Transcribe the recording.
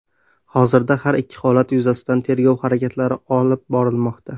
Hozirda har ikki holat yuzasidan tergov harakatlari olib borilmoqda.